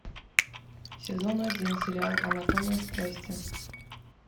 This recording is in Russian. сезон один сериал анатомия страсти